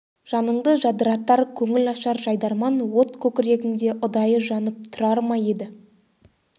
жаныңды жадыратар көңіл ашар жайдарман от көкірегіңде ұдайы жанып тұрар ма еді